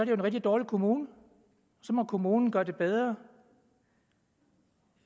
jo en rigtig dårlig kommune så må kommunen gøre det bedre